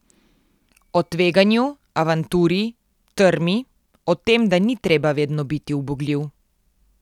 O tveganju, avanturi, trmi, o tem, da ni treba vedno biti ubogljiv.